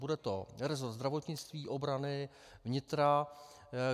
Bude to rezort zdravotnictví, obrany, vnitra.